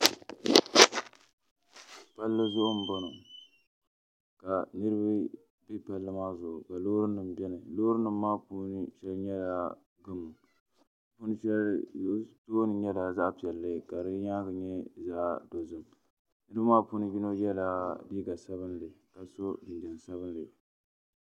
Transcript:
Palli zuɣu n bɔŋɔ ka niraba bɛ palli maa zuɣu ka loori nim biɛni Loori nim maa puuni shɛli nyɛla gamo di tooni nyɛla zaɣ piɛlli ka di nyaangi nyɛ zaɣ dozim niraba maa puuni yino yɛla liiga sabinli ka so jinjɛm sabinli